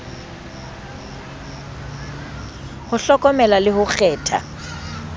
ho hlokomela le ho kgetha